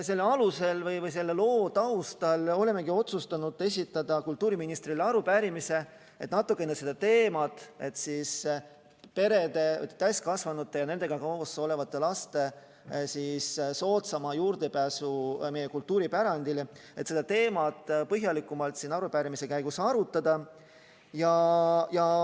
Selle loo taustal olemegi otsustanud esitada kultuuriministrile arupärimise, et natukene seda teemat – perede, täiskasvanute ja nendega koos olevate laste soodsam juurdepääs meie kultuuripärandile – põhjalikumalt siin arutada.